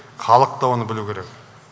халық та оны білуі керек